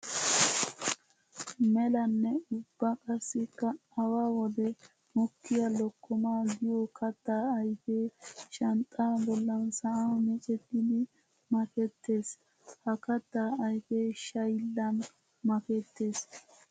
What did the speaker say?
Melanne ubba qassikka awa wode mokkiya lokkomma giyo katta ayfe shanxxa bollan sa'an miccettiddi makettees. Ha katta ayfe shayllan makketees.